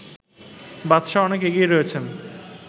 বাদশাহ অনেক এগিয়ে রয়েছেন